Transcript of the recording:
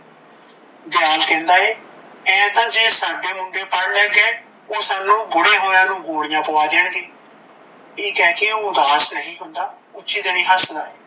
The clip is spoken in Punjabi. ਦਿਆਲ ਕਹਿੰਦਾ ਏ ਐ ਤੇ ਜੇ ਸਾਡੇ ਮੁੰਡੇ ਪੜ ਲੈਣਗੇ ਓਹ ਸਾਨੂੰ ਬੂੜੇ ਹੋਇਆ ਨੂੰ ਗੋਲੀਆਂ ਪਵਾ ਦਿਆਗੇ ਇਹ ਕਹਿ ਕੇ ਓਹ ਉਦਾਸ ਨਹੀਂ ਹੁੰਦਾ ਉੱਚੀ ਦੇਣੀ ਹੱਸਦਾ ਏ,